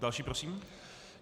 Další prosím.